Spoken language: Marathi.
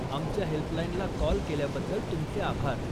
आमच्या हेल्पलाइनला काॅल केल्याबद्दल तुमचे आभार.